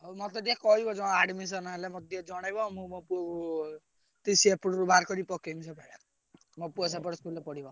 ମତେ ଟିକେ କହିବ ତମେ admission ହେଲେ ମତେ ଟିକେ ଜଣେଇବ ମୁଁ ପୁଅକୁ TC ଏପଟରୁ ବାହାରକରି ପକେଇବି ମୋ ପୁଅ ସେପଟ school ରେ ପଢିବ।